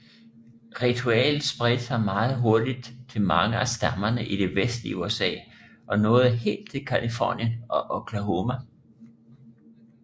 Ritualet spredte sig meget hurtigt til mange af stammerne i det vestlige USA og nåede helt til Californien og Oklahoma